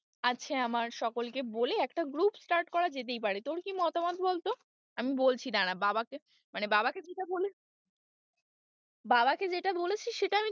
আছে আমার সকলকে বলে একটা group start করা যেতেই পারে তোর কি মতামত বলতো? আমি বলছি দাঁড়া বাবাকে মানে বাবাকে বাবাকে যেটা বলেছি সেটা,